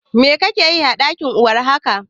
Me kake yi a ɗaki war haka?